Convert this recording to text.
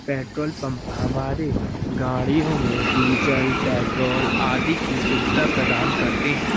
Petrol pump हमारे गाड़ियों में डीजल पेट्रोल आदि की सुविधा प्रदान करते हैं।